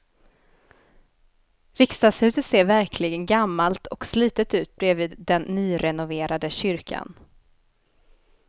Riksdagshuset ser verkligen gammalt och slitet ut bredvid den nyrenoverade kyrkan.